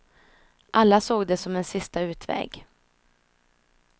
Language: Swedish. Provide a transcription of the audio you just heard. Alla såg det som en sista utväg.